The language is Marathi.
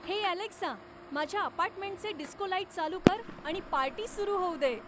हे अलेक्सा माझ्या अपार्टमेंटचे डिस्को लाइट चालू कर आणि पार्टी सुरू होऊ दे